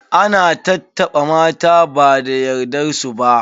Ana tattaɓa mata ba da yardar su ba.